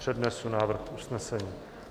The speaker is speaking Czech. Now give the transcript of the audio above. Přednesu návrh usnesení.